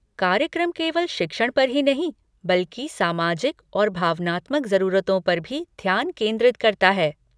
कार्यक्रम केवल शिक्षण पर ही नहीं बल्कि सामाजिक और भावनात्मक जरूरतों पर भी ध्यान केंद्रित करता है।